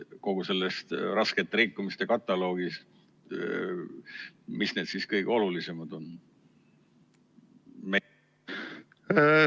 Kogu sellest raskete rikkumiste kataloogist, mis need kõige olulisemad on?